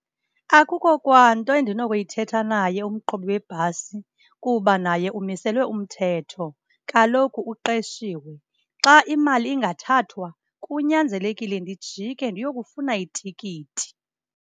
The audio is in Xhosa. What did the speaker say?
Akukho kwanto endinokuyithetha naye umqhubi webhasi kuba naye umiselwe umthetho, kaloku uqeshiwe. Xa imali ingathathwa kunyanzelekile ndijike ndiyokufuna itikiti.